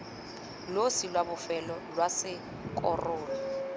losi lwa bofelo lwa sekorolo